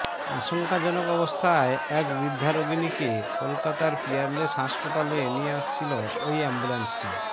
আশঙ্কাজনক অবস্থায় এক বৃদ্ধা রোগিণীকে কলকাতার পিয়ারলেস হাসপাতাল নিয়ে আসছিল ওই অ্যাম্বুল্যান্সটি